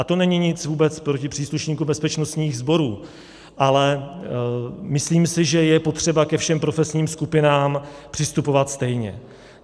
A to není nic vůbec proti příslušníkům bezpečnostních sborů, ale myslím si, že je potřeba ke všem profesním skupinám přistupovat stejně.